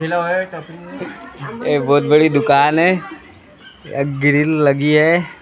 एक बहुत बड़ी दुकान है ग्रिल लगी है।